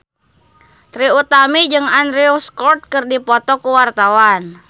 Trie Utami jeung Andrew Scott keur dipoto ku wartawan